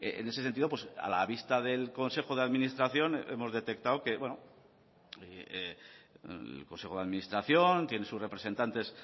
en ese sentido a la vista del consejo de administración hemos detectado que el consejo de administración tiene sus representantes